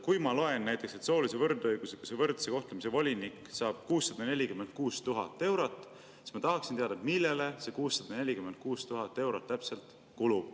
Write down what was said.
Kui ma loen näiteks, et soolise võrdõiguslikkuse ja võrdse kohtlemise volinik saab 646 000 eurot, siis ma tahaksin teada, millele see 646 000 eurot täpselt kulub.